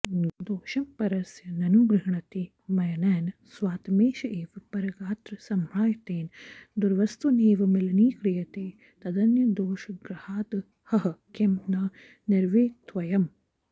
दोषं परस्य ननु गृह्णति मय्यनैन स्वात्मैष एव परगात्रसमाहृतेन दुर्वस्तुनेव मलिनीक्रियते तदन्यदोषग्रहादहह किं न निवर्तितव्यम्